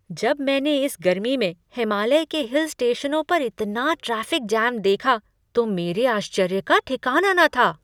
जब मैंने इस गर्मी में हिमालय के हिल स्टेशनों पर इतना ट्रैफिक जाम देखा तो मेरे आश्चर्य का ठिकाना न था।